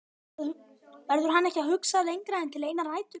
Verður hann ekki að hugsa lengra en til einnar nætur?